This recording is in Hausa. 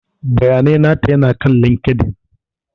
Bayanai nata ya na kan LinkedIn.